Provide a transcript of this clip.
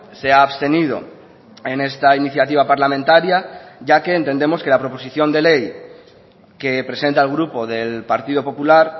se ha abstenido en esta iniciativa parlamentaria ya que entendemos que la proposición de ley que presenta el grupo del partido popular